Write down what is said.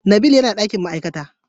nabil yana dakin ma'aikata.